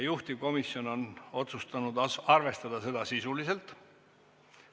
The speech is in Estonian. Juhtivkomisjon on otsustanud arvestada seda sisuliselt.